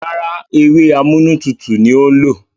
Rárá, ewé amúnútutù ni ó lò.